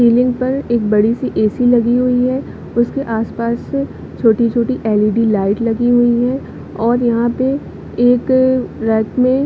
ceiling पर एक बड़ी सी ए_सी लगी हुई है उसके आस-पास छोटी-छोटी एल_इ_डी लाइट लगी हुई है और यहाँ पर एक रथ में--